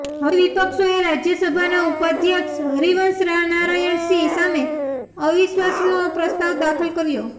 હવે વિપક્ષોએ રાજ્યસભાના ઉપાધ્યક્ષ હરિવંશ નારાયણ સિંહ સામે અવિશ્વાસનો પ્રસ્તાવ દાખલ કર્યો છે